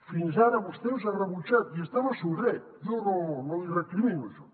fins ara vostè els ha rebutjat i hi està en el seu dret jo no li recrimino això